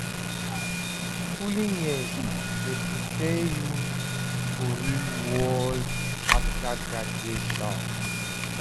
Schooling years dey prepare you for the real world after graduation.